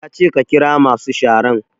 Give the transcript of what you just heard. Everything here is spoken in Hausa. Ya ce ka ƙira masu sharan!